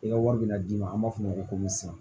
I ka wari bɛna d'i ma an b'a f'o ma ko sisan